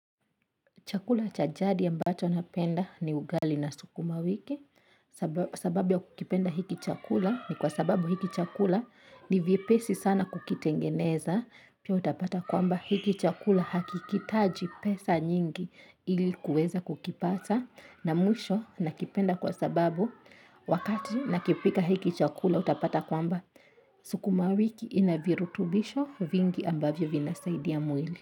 Chakula chajadi ambacho napenda ni ugali na sukuma wiki sababu ya kukipenda hiki chakula ni kwa sababu hiki chakula ni vyepesi sana kukitengeneza. Pia utapata kwamba hiki chakula hakihitaji pesa nyingi ili kuweza kukipata na mwisho nakipenda kwa sababu wakati nakipika hiki chakula utapata kwamba sukuma wiki ina virutubisho vingi ambavyo vinasaidia mwili.